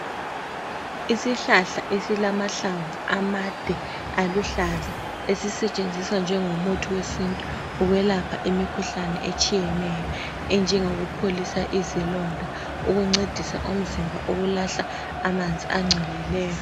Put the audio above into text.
Isihlahla esilamahlamvu amade aluhlaza esisetshenziswa njengomuthi wesintu ukwelapha imikhuhlane etshiyeneyo enjengokupholisa izilonda ukuncedisa umzimba ukulahla amanzi angcolileyo